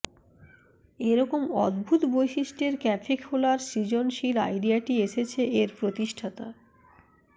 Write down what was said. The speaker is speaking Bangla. এরকম অদ্ভুত বৈশিষ্ট্যের ক্যাফে খোলার সৃজনশীল আইডিয়াটি এসেছে এর প্রতিষ্ঠাতা